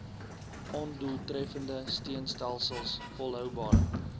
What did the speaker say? ondoeltreffende steunstelsels volhoubare